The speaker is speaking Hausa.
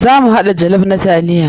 Za mu haɗa jollof na taliya.